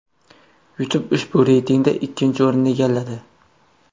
YouTube ushbu reytingda ikkinchi o‘rinni egalladi.